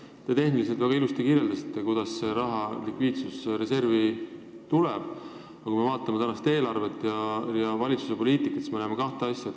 Te kirjeldasite tehniliselt väga ilusti, kuidas see raha likviidsusreservi läheb, aga kui me vaatame tänavust eelarvet ja meie valitsuse poliitikat, siis me näeme kahte asja.